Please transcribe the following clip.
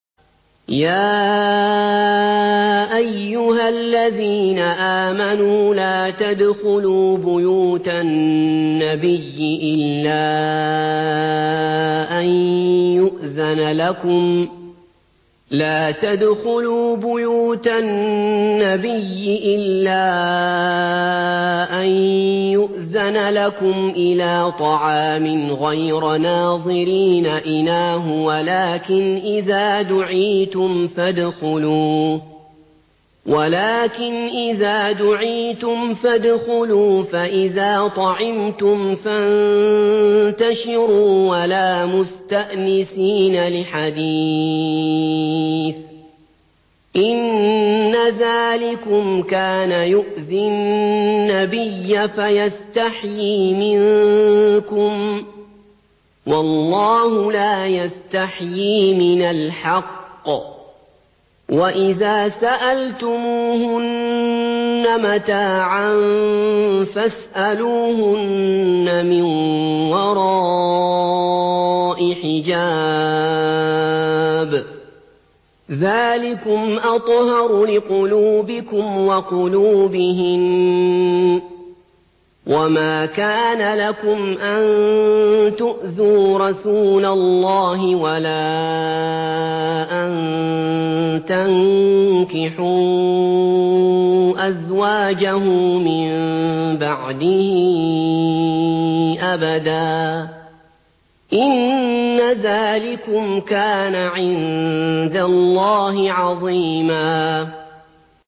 يَا أَيُّهَا الَّذِينَ آمَنُوا لَا تَدْخُلُوا بُيُوتَ النَّبِيِّ إِلَّا أَن يُؤْذَنَ لَكُمْ إِلَىٰ طَعَامٍ غَيْرَ نَاظِرِينَ إِنَاهُ وَلَٰكِنْ إِذَا دُعِيتُمْ فَادْخُلُوا فَإِذَا طَعِمْتُمْ فَانتَشِرُوا وَلَا مُسْتَأْنِسِينَ لِحَدِيثٍ ۚ إِنَّ ذَٰلِكُمْ كَانَ يُؤْذِي النَّبِيَّ فَيَسْتَحْيِي مِنكُمْ ۖ وَاللَّهُ لَا يَسْتَحْيِي مِنَ الْحَقِّ ۚ وَإِذَا سَأَلْتُمُوهُنَّ مَتَاعًا فَاسْأَلُوهُنَّ مِن وَرَاءِ حِجَابٍ ۚ ذَٰلِكُمْ أَطْهَرُ لِقُلُوبِكُمْ وَقُلُوبِهِنَّ ۚ وَمَا كَانَ لَكُمْ أَن تُؤْذُوا رَسُولَ اللَّهِ وَلَا أَن تَنكِحُوا أَزْوَاجَهُ مِن بَعْدِهِ أَبَدًا ۚ إِنَّ ذَٰلِكُمْ كَانَ عِندَ اللَّهِ عَظِيمًا